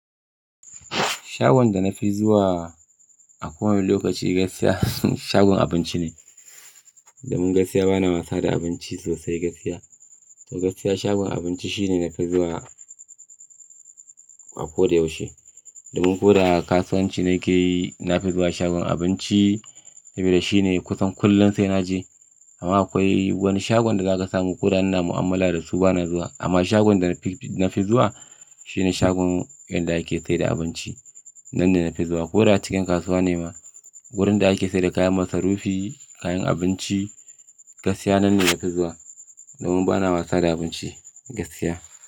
Shagon da na fi zuwa a kowane lokaci gaskiya, shagon abinci ne. Domin gaskiya bana wasa da abinci sosai gaskiya. To gaskiya shagon abinci shine na fi zuwa a ko da yaushe. Domin ko da kasuwanci na ke yi, na fi zuwa shagon abinci saboda shine kusan kullum sai na je. Amma akwai wani shagon da za ka samu ko da ina mu'amala da su bana zuwa. Amma shagon da na fi, na fi zuwa shine shagon inda ake sayar da abinci. Nan ne na fi zuwa ko da cikin kasuwa ne ma. Wurin da ake sayar da kayan masarufi, kayan abinci gaskiya nan ne na fi zuwa. Domin bana wasa da abinci gaskiya.